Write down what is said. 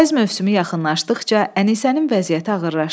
Payız mövsümü yaxınlaşdıqca Ənisənin vəziyyəti ağırlaşdı.